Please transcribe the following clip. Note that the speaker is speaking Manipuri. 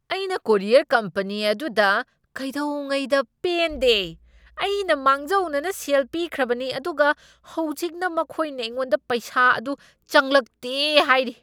ꯑꯩꯅ ꯀꯨꯔꯤꯌꯔ ꯀꯝꯄꯅꯤ ꯑꯗꯨꯗ ꯀꯩꯗꯧꯉꯩꯗ ꯄꯦꯟꯗꯦ꯫ ꯑꯩꯅ ꯃꯥꯡꯖꯧꯅꯅ ꯁꯦꯜ ꯄꯤꯈ꯭ꯔꯕꯅꯤ, ꯑꯗꯨꯒ ꯍꯧꯖꯤꯛꯅ ꯃꯈꯣꯏꯅ ꯑꯩꯉꯣꯟꯗ ꯄꯩꯁꯥ ꯑꯗꯨ ꯆꯪꯂꯛꯇꯦ ꯍꯥꯏꯔꯤ꯫